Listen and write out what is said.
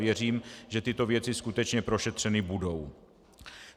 Věřím, že tyto věci skutečně prošetřeny budou.